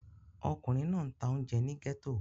Ọkùnrin náà ń ta oúnjẹ ní gẹ́tò.